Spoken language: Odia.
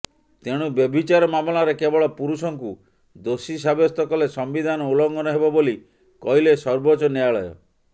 ତେଣୁ ବ୍ୟଭିଚାର ମାମଲାରେ କେବଳ ପୁରୁଷଙ୍କୁ ଦୋଷୀ ସାବ୍ୟସ୍ତ କଲେ ସମ୍ବିଧାନ ଉଲଘଂନ ହେବ ବୋଲି କହିଲେ ସର୍ବୋଚ୍ଚ ନ୍ୟାୟାଳୟ